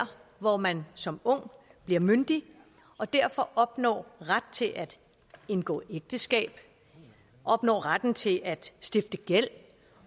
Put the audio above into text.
hvor man som ung bliver myndig og derfor opnår ret til at indgå ægteskab opnår retten til at stifte gæld